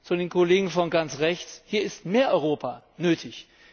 Zu den Kollegen von ganz rechts Hier ist mehr Europa nötig.